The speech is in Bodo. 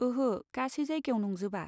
ओहो, गासै जायगायाव नंजोबा।